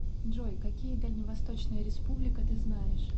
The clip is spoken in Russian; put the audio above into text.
джой какие дальневосточная республика ты знаешь